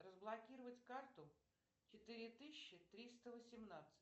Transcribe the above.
разблокировать карту четыре тысячи триста восемнадцать